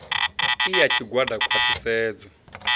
i ya tshigwada khwa ṱhisedzo